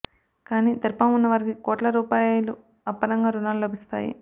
కానీ దర్పం ఉన్న వారికి కోట్ల రూపాయలు అప్పనంగా రుణాలు లభిస్తాయి